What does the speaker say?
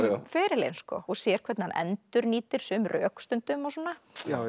ferilinn og sér hvernig hann endurnýtir sum rök stundum og svona